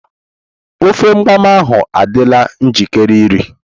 Ofe mgbam ahu adịla njikere iri.